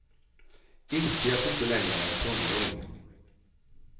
Inse att du inte längre är en tonåring.